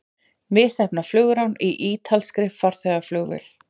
Misheppnað flugrán í ítalskri farþegavél